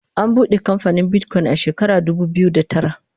an buɗe kamfanin Bitcoin a shekara dubu biyu da tara